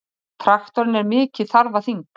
Traktorinn er mikið þarfaþing!